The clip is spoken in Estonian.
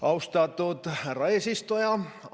Austatud härra eesistuja!